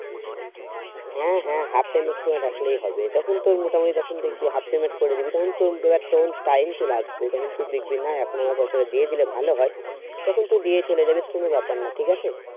হ্যাঁ হ্যাঁ half payment তো রাখলেই হবে যখন তোর মোটামুটি যখন দেখবি half payment করে দিবি তখন তো time চলে আসবে তখন তুই দেখবি না এখন আমার পয়সাটা দিয়ে দিলে ভালই হয় তখন তুই দিয়ে চলে যাবিস কোনো ব্যাপার নাই ঠিক আছে